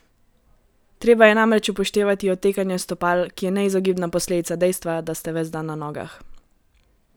Treba je namreč upoštevati otekanje stopal, ki je neizogibna posledica dejstva, da ste ves dan na nogah.